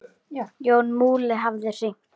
Jón Múli hafði hringt.